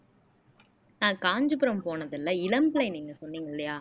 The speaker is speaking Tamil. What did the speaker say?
நான் காஞ்சிபுரம் போனதில்லை இளம் பிள்ளை நீங்க சொன்னீங்க இல்லையா